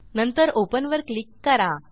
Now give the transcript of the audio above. नंतर ओपन वर क्लिक करा